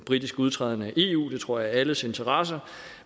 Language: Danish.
britiske udtræden af eu det tror jeg alles interesse